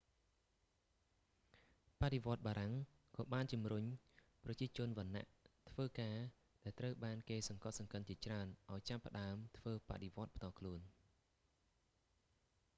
បដិវត្តបារាំងក៏បានជំរុញប្រជាជនវណ្ណៈធ្វើការដែលត្រូវបានគេសង្កត់សង្កិនជាច្រើនឱ្យចាប់ផ្តើមធ្វើបដិវត្តផ្ទាល់ខ្លួន